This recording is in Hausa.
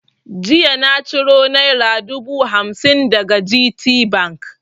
Jiya na ciro naira dubu hamsin daga GTBank.